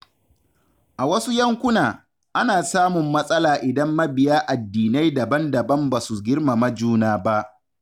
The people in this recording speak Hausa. A wasu yankuna, ana samun matsala idan mabiya addinai daban-daban ba su girmama juna ba.